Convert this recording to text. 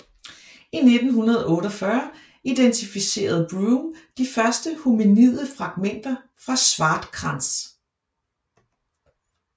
I 1948 identificerede Broom de første hominide fragmenter fra Swartkrans